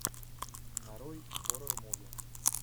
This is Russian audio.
нарой хоррор муви